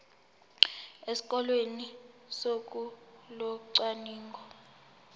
esikoleni ngosuku locwaningo